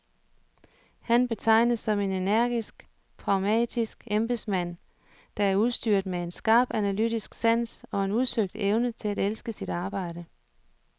Han betegnes som en energisk, pragmatisk embedsmand, der er udstyret med en skarp analytisk sans og en udsøgt evne til at elske sit arbejde.